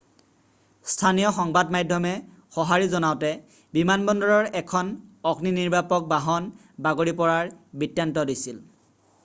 স্থানীয় সংবাদ মাধ্যমে সঁহাৰি জনাওতে বিমানবন্দৰৰ এখন অগ্নি নিৰ্বাপক বাহন বাগৰি পৰাৰ বৃত্তান্ত দিছিল